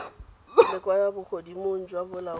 la kwa bogodimong jwa bolaodi